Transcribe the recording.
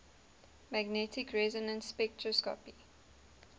magnetic resonance spectroscopy